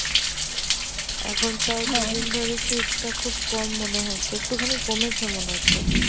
এখন তাও সারাদিন ধরে শীতটা খুব কম মনে হচ্ছে একটু খানি কমেছে মনে হচ্ছে